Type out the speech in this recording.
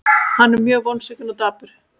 Hann er mjög vonsvikinn og dapur.